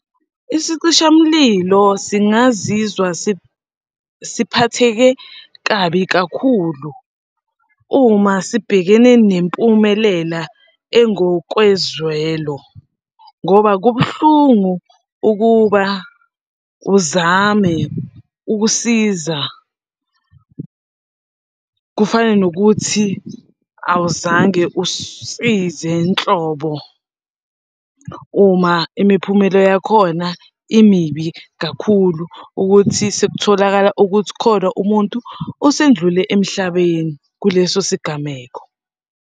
Isicishamlilo singazizwa siphatheke kabi kakhulu uma sibhekene nempumelela engokwezwelo ngoba kubuhlungu ukuba uzame ukusiza kufane nokuthi awuzange usize nhlobo uma imiphumela yakhona imibi kakhulu ukuthi sekutholakala ukuthi khona umuntu osendlule emhlabeni kuleso sigameko.